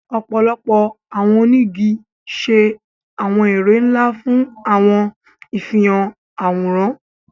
Ọpọlọpọ awọn onigi ṣe awọn ere nla fun awọn ifihan aworan